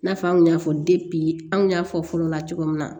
I n'a fɔ an kun y'a fɔ anw y'a fɔ fɔlɔ la cogo min na